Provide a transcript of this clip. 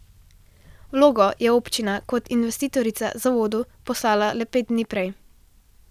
Vlogo je občina kot investitorica zavodu poslala le pet dni prej.